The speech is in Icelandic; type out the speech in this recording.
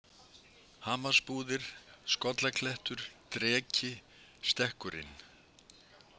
Hamarsbúðir, Skollaklettur, Dreki, Stekkurinn